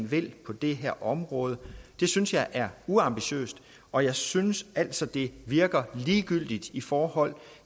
vil på det her område det synes jeg er uambitiøst og jeg synes altså det virker som ligegyldighed i forhold